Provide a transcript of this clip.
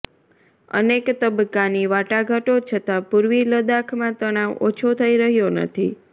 અનેક તબક્કાની વાટાઘાટો છતાં પૂર્વી લદ્દાખમાં તણાવ ઓછો થઇ રહ્યો નથી